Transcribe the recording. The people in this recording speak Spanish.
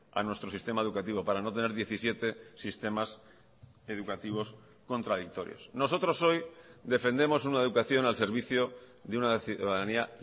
a nuestro sistema educativo para no tener diecisiete sistemas educativos contradictorios nosotros hoy defendemos una educación al servicio de una ciudadanía